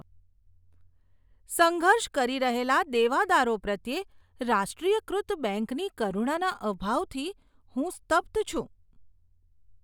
સંઘર્ષ કરી રહેલા દેવાદારો પ્રત્યે રાષ્ટ્રીયકૃત બેંકની કરુણાના અભાવથી હું સ્તબ્ધ છું.